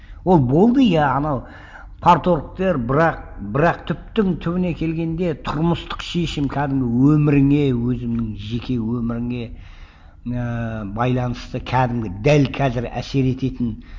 ол болды иә анау парторгтер бірақ бірақ түптің түбіне келгенде тұрмыстық шешім кәдімгі өміріңе өзіңнің жеке өміріңе ііі байланысты кәдімгі дәл қазір әсер ететін